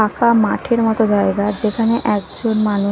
ফাঁকা মাঠের মতো জায়গা যেখানে একজন মানু--